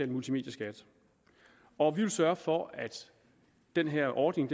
multimedieskat og vi vil sørge for at den her ordning